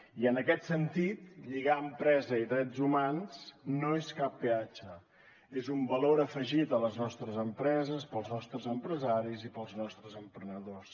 i en aquest sentit lligar empresa i drets humans no és cap peatge és un valor afegit a les nostres empreses per als nostres empresaris i per als nostres emprenedors